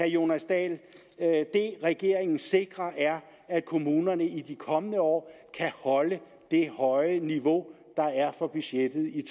jonas dahl at det regeringen sikrer er at kommunerne i de kommende år kan holde det høje niveau der er for budgettet i